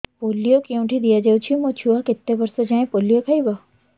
polio କେଉଁଠି ଦିଆଯାଉଛି ମୋ ଛୁଆ କେତେ ବର୍ଷ ଯାଏଁ ପୋଲିଓ ଖାଇବ